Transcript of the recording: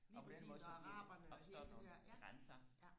og på den måde så bliver opstår der nogle grænser